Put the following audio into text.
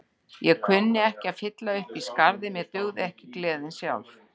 Ég kunni ekki að fylla upp í skarðið, mér dugði ekki gleðin sjálf.